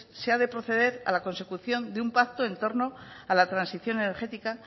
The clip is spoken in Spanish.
se ha de proceder a la consecución de un pacto en torno a la transición energética